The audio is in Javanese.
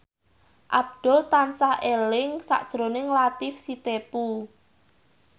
Abdul tansah eling sakjroning Latief Sitepu